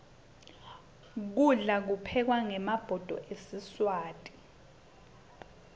kudla kuphekwa ngemabhodo esiswati